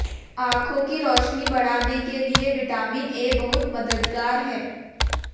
आंखों की रोशनी बढ़ाने के लिए विटामिन ए बहुत मददगार है